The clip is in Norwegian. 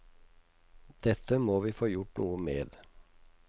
Dette må vi få gjort noe med.